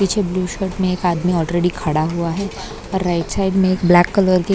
पीछे blue shirt में एक आदमी ऑलरेडी खड़ा हुआ है और राइट साइड में एक ब्लैक कलर की--